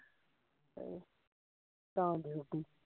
ਹਾਂ ਤਾਂ ਫਿਰ ਰੋਟੀ